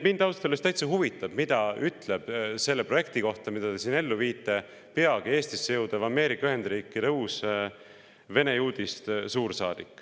Mind ausalt öeldes täitsa huvitab, mida ütleb selle projekti kohta, mida te siin ellu viite, peagi Eestisse jõudev Ameerika Ühendriikide uus, vene juudist suursaadik.